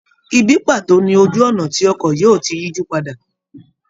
Ìbí paato ni ojú ọ̀nà tí ọkọ̀ yóò ti yijupada.